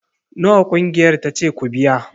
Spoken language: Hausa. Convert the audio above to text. Nawa ƙungiyar ta ce ku biya